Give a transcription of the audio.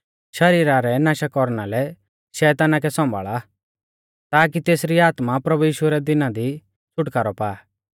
शरीरा रै नाशा कौरना लै शैताना कै सौंभाल़ा ताकी तेसरी आत्मा प्रभु यीशु रै दिना दी छ़ुटकारौ पा